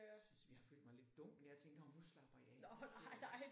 Jeg synes jeg har følt mig lidt dum men jeg tænkte åh nu slapper jeg af nu sidder jeg